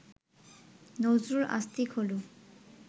নজরুল আস্তিক হলেও